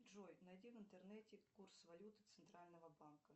джой найди в интернете курсы валют центрального банка